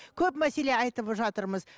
көп мәселе айтып жатырмыз